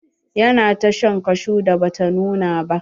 Ya na ta shan kashu da bata nuna ba.